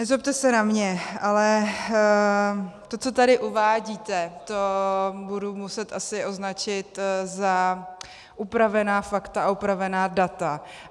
Nezlobte se na mě, ale to, co tady uvádíte, to budu muset asi označit za upravená fakta a upravená data.